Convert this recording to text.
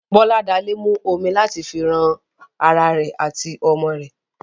Boladale mu omi láti fi ran ará rẹ àti ọmọ rẹ.